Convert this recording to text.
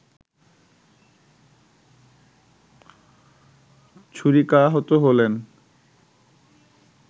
ছুরিকাহত হলেন